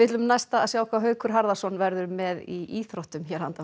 sjá hvað Haukur Harðarson verður með í íþróttum hér handan